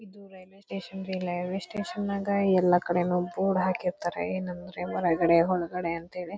ಇದು railway station ರೀ railway station ನಾಗೇ ಎಲ್ಲ ಕಡೆನೂ ಬೋರ್ಡ್ ಹಾಕಿರ್ತಾರೆ ಏನಂದ್ರೆ ಹೊರಗಡೆ ಒಳಗಡೆ ಅಂತ ಹೇಳಿ.